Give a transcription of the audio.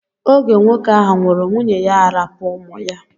Oge nwoke ahụ nwụrụ nwunye ya arapu ụmụ ya.